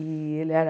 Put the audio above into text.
E ele era...